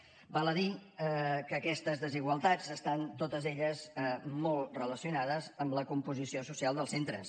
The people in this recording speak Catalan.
val a dir que aquestes desigualtats estan totes elles molt relacionades amb la composició social dels centres